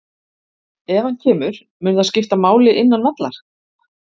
Ef hann kemur, mun það skipta máli innan vallar?